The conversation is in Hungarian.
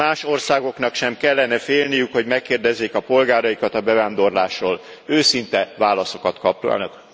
Más országoknak sem kellene félniük, hogy megkérdezzék a polgáraikat a bevándorlásról, őszinte válaszokat kapjanak.